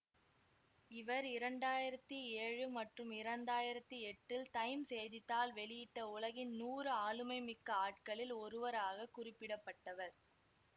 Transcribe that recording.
இவர் இரண்டாயிரத்தி ஏழு மற்றும் இரண்டாயிரத்தி எட்டில் டைம் செய்தி தாள் வெளியிட்ட உலகின் நூறு ஆளுமைமிக்க ஆட்களில் ஒருவராகக் குறிப்பிடப்பட்டவர்